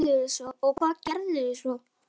Og hvað gerðuð þér svo?